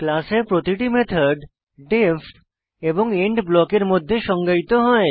class এ প্রতিটি method D E F এবং এন্ড ব্লকের মধ্যে সংজ্ঞায়িত হয়